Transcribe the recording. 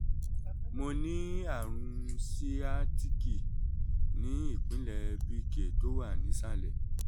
mo ní àrùn síátìkì ní ìpínlẹ̀ bk tó wà nísàlẹ̀